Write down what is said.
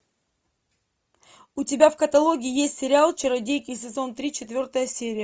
у тебя в каталоге есть сериал чародейки сезон три четвертая серия